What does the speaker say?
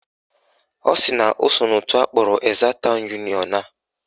Ọ sị na o so n'òtù akpọrọ Ezza town union a